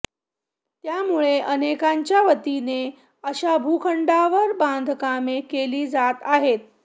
त्यामुळे अनेकांच्या वतीने अशा भूखंडावर बांधकामे केली जात आहेत